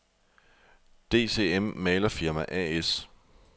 DCM Malerfirma A/S